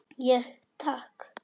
Ég: Takk.